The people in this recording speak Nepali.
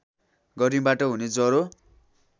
गर्मीबाट हुने ज्वरो